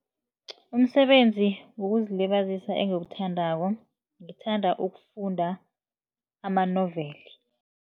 Umsebenzi wokuzilibazisa engiwuthandako, ngithanda ukufunda amanoveli.